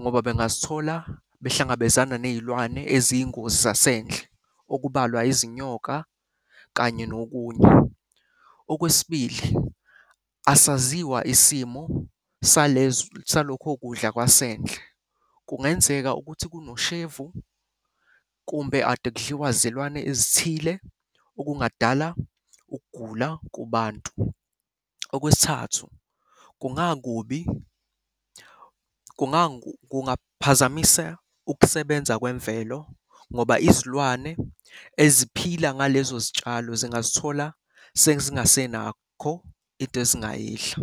ngoba bengazithola behlangabezana ney'lwane eziyingozi zasendle, okubalwa izinyoka kanye nokunye. Okwesibili, asaziwa isimo salokho kudla kwasendle. Kungenzeka ukuthi kunoshevu kumbe ade kudliwa zilwane ezithile, okungadala ukugula kubantu. Okwesithathu, kungakubi, kungaphazamisa ukusebenza kwemvelo ngoba izilwane eziphila ngalezo zitshalo zingazithola sezingasenakho into ezingayidla.